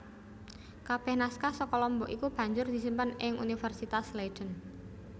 Kabeh naskah saka Lombok iku banjur disimpen ing Universitas Leiden